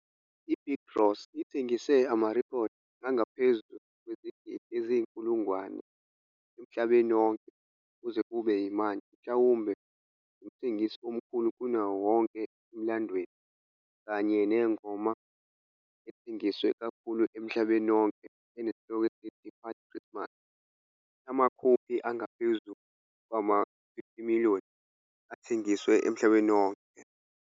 I-Bing Crosby ithengise amarekhodi angaphezu kwezigidi eziyinkulungwane emhlabeni wonke kuze kube manje mhlawumbe ngumthengisi omkhulu kunayo yonke emlandweni, kanye nengoma ethengiswa kakhulu emhlabeni wonke enesihloko esithi White Christmas, amakhophi angaphezu kwama-50,000,000 athengiswe emhlabeni wonke.